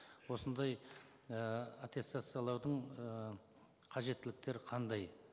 осындай і аттестациялаудың ііі қажеттіліктері қандай